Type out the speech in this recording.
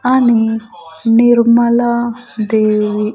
అని నిర్మల దేవి.